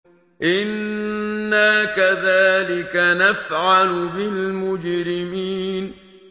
إِنَّا كَذَٰلِكَ نَفْعَلُ بِالْمُجْرِمِينَ